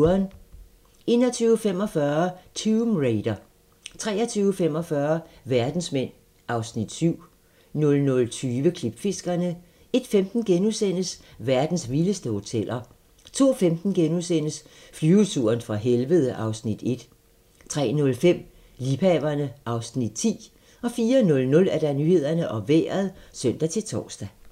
21:45: Tomb Raider 23:45: Verdensmænd (Afs. 7) 00:20: Klipfiskerne 01:15: Verdens vildeste hoteller * 02:15: Flyveturen fra helvede (Afs. 1)* 03:05: Liebhaverne (Afs. 10) 04:00: Nyhederne og Vejret (søn-tor)